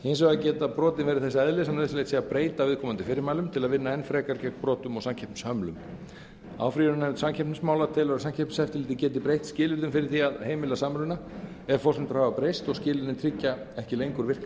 hins vegar geta brotin verið þess eðlis að nauðsynlegt sé að breyta viðkomandi fyrirmælum til að vinna enn frekar gegn brotum og samkeppnishömlum áfrýjunarnefnd samkeppnismála telur að samkeppniseftirlitið geti breytt skilyrðum fyrir því að heimila samruna ef forsendur hafa breyst og skilyrðin tryggja ekki lengur virka